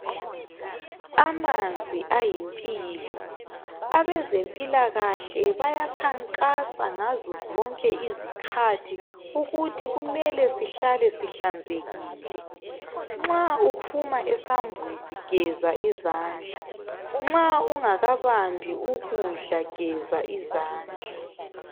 Amanzi ayimpilo. Abezempilakahle bayakhankasa ngazozonke izikhathi, ukuthi mele sihlale sihlanzekile. Nxa uphuma esambuzi, geza izandla. Nxa ungakabambi ukudla geza izandla.